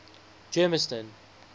germiston